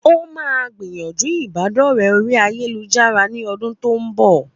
Ó máa gbìyànjú ìbádọ̀rẹ́ oríi ayélujára ní ọdún tó ń bọ̀